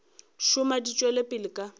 šoma di tšwela pele ka